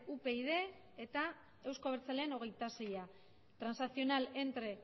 upyd eta euzko abertzaleen hogeita sei transaccional entre